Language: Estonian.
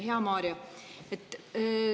Hea Mario!